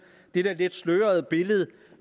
lidt slørede billede